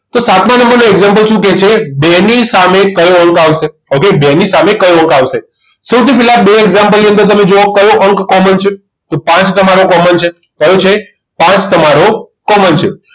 તો સાતમા નંબરનું example શું કહે છે બેની સામે કયો આંક આવશે ઓકે બેની સામે કયો અંક આવશે સૌથી પહેલા બે example ની અંદર તમે જુઓ કયો અંક common છે તો પાંચ તમારો common છે કયો છે પાંચ તમારો common છે